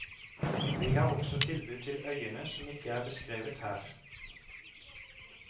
Vi har også tilbud til øyene som ikke er beskrevet her.